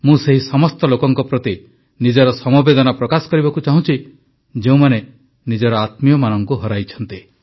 ମୁଁ ସେହି ସମସ୍ତ ଲୋକଙ୍କ ପ୍ରତି ନିଜର ସମବେଦନା ପ୍ରକାଶ କରିବାକୁ ଚାହୁଁଛି ଯେଉଁମାନେ ନିଜର ଆତ୍ମୀୟମାନଙ୍କୁ ହରାଇଛନ୍ତି